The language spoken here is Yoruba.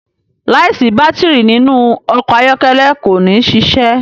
láì sí Bátìrì nínú ọkọ̀ ayọ́kẹ́lẹ́ kò ní ṣiṣẹ.